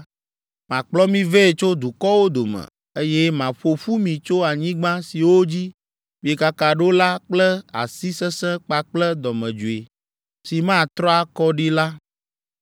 Makplɔ mi vɛ tso dukɔwo dome, eye maƒo ƒu mi tso anyigba siwo dzi miekaka ɖo la kple asi sesẽ kpakple dɔmedzoe si matrɔ akɔ ɖi la.